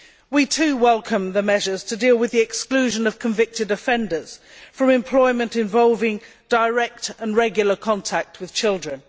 We, too, welcome the measures to deal with the exclusion of convicted offenders from employment involving direct and regular contact with children.